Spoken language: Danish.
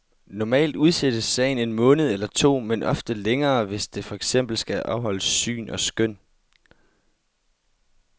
Normalt udsættes sagen en måned eller to, men ofte længere, hvis der for eksempel skal afholdes syn og skøn.